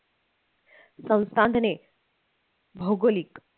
संसाधने भौगोलिक